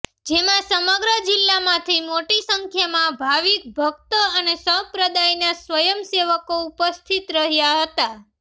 જેમાં સમગ્ર જિલ્લામાંથી મોટી સંખ્યામાં ભાવિક ભક્તો અને સંપ્રદાયના સ્વયંસેવકો ઉપસ્થિત રહ્યા હતા